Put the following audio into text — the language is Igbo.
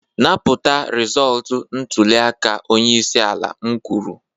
napụta rịzọlt ntuliaka onye isi ala m kwuru!